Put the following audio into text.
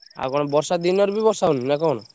ଆଉ କଣ ବର୍ଷା ଦିନରେ ବି ବର୍ଷା ହଉନି ନା କଣ?